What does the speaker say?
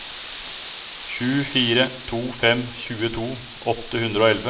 sju fire to fem tjueto åtte hundre og elleve